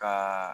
Ka